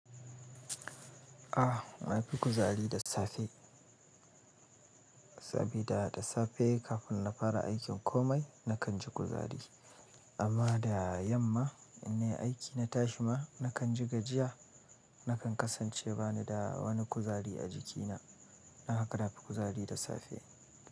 Ah, na fi kuzari da safe, sabida da safe kafin na fara aikin komai nakan ji kuzari. Amma da yamma in nai aiki na tashi ma nakan ji gajiya, nakan kasance bani da wani kuzari a jikina. Don haka na fi kuzari da safe.